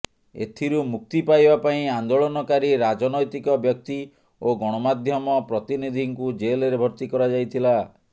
ଏଥିରୁ ମୁକ୍ତି ପାଇବା ପାଇଁ ଆନ୍ଦୋଳନକାରୀ ରାଜନୈତିକ ବ୍ୟକ୍ତି ଓ ଗଣମାଧ୍ୟମ ପ୍ରତିନିଧିଙ୍କୁ ଜେଲରେ ଭର୍ତ୍ତି କରାଯାଇଥିଲା